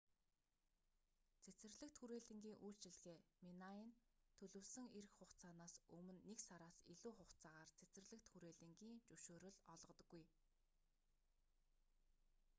цэцэрлэгт хүрээлэнгийн үйлчилгээ minae нь төлөвлөсөн ирэх хугацаанаас өмнө нэг сараас илүү хугацаагаар цэцэрлэгт хүрээлэнгийн зөвшөөрөл олгодоггүй